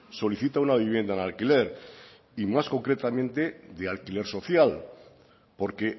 solicita una vivienda en alquiler y más concretamente de alquiler social porque